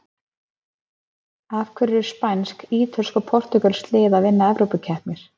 Af hverju eru spænsk, ítölsk og portúgölsk lið að vinna evrópukeppnir?